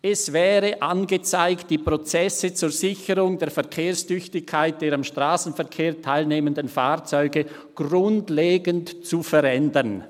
«Es wäre angezeigt, die Prozesse zur Sicherung der Verkehrstüchtigkeit der am Strassenverkehr teilnehmenden Fahrzeuge grundlegend zu verändern.»